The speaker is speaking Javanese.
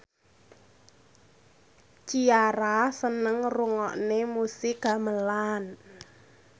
Ciara seneng ngrungokne musik gamelan